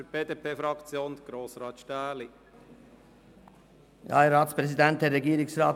Für die BDP-Fraktion hat Grossrat Stähli das Wort.